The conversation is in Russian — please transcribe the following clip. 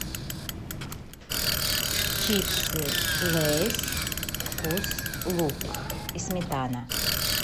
чипсы лейс вкус лук и сметана